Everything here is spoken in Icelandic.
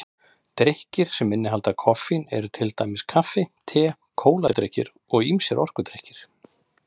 Drykkir sem innihalda koffein eru til dæmis kaffi, te, kóladrykkir og ýmsir orkudrykkir.